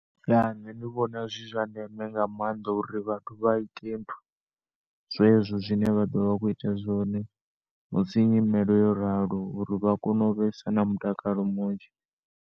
Ṋne ndi vhona zwi zwandeme nga maanda uri vhathu vha ite nthu, zwezwo zwine vhado vha vha kho ita zwone musi nyimele yo ralo uri vha kone u vhesa na mutakalo munzhi.